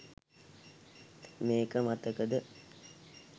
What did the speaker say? මේක මතකද?